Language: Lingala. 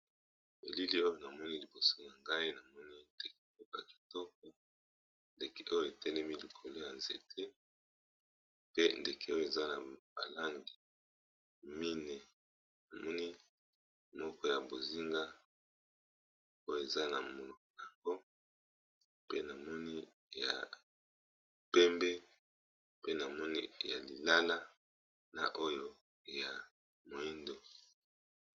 Elili oyo na moni liboso ya ngai na moni ya ndeke moko kitoko ndeke oyo etelemi likolo ya nzete pe ndeke oyo eza na balangi mine na moni moko ya bozinga oyo eza na yango pe na moni ya pembe pe na moni ya lilala na oyo ya moindo.